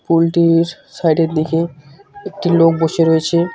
পুল -টির সাইড -এর দিকে একটি লোক বসে রয়েছে।